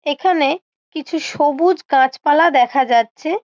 এখানে-এ কিছু সবুজ গাছপালা দেখা যাচ্ছে-এ--